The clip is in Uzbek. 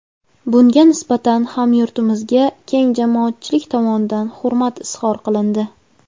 Bunga nisbatan hamyurtimizga keng jamoatchilik tomonidan hurmat izhor qilindi.